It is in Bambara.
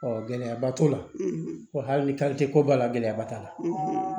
Ɔ gɛlɛyaba t'o la hali ni ko b'a la gɛlɛyaba t'a la